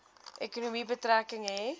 ekonomie betrekking hê